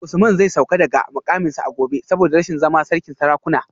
Usman zai sauka daga mukaminsa a gobe saboda rashin zama sarkin sarakuna